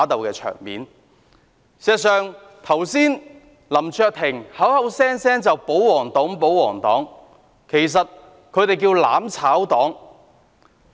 事實上，剛才林卓廷議員口口聲聲說我們是保皇黨，其實他們叫作"攬炒黨"。